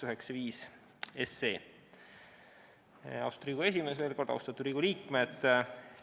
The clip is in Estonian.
Veel kord: austatud Riigikogu esimees ja austatud Riigikogu liikmed!